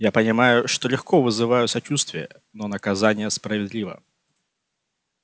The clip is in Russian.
я понимаю что легко вызываю сочувствие но наказание справедливо